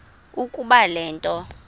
ukuba le nto